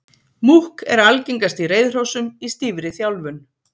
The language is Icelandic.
Múkk er algengast í reiðhrossum í stífri þjálfun.